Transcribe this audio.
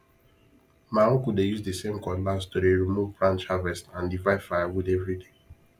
ma uncle dey use the same cutlass to de remove branch harvest and divide firewood every day